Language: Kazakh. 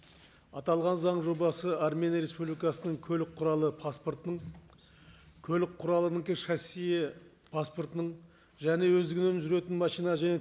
аталған заң жобасы армения республикасының көлік құралы паспортының көлік құралының шассиі паспортының және өздігінен жүретін машина және